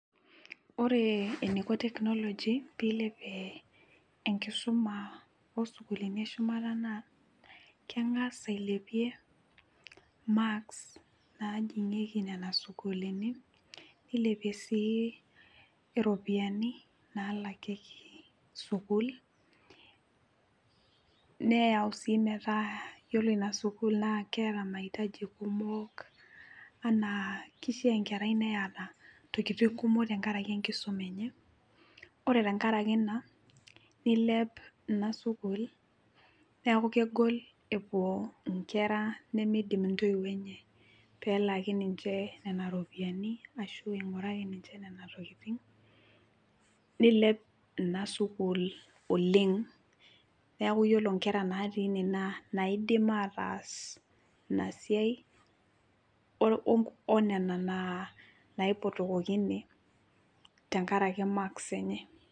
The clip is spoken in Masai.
Ore eneiko tekinoloji tenilepie isukulini eshumata naa keng'as ailepie imaks najing'ieki nenasukulini, neyau sii metaa ore inasukul naa ketaa maitaji kumok enaa kishaa enkerai neeta intiketi kumok tengaraki tenkisuma enye, ore tengaraki Ina nilep inasukul amukegol epuo inkera nemeidim intoiwuo enye pee elaaki niche neneropiyiani nilep inasukul oleng neeku ore inkera naidim atas Ina siai onena naipotokoki.